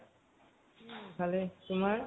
উম । ভালে তোমাৰ?